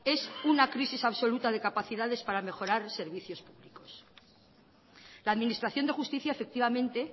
es una crisis absoluta de capacidades para mejorar servicios públicos la administración de justicia efectivamente